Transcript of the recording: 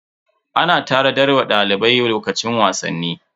Ana tanadar wa dalibai lokacin wasanni.